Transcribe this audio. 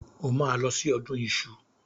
O máa lọ sí ọdún iṣu.